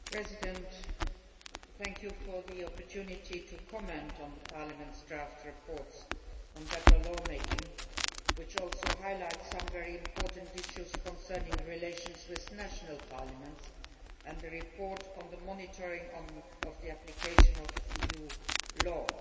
Mr President, honourable Members, thank you for the opportunity to comment on Parliament's draft report on better lawmaking, which also highlights some very important issues concerning relations with national parliaments, and the report on the monitoring of the application of EU law.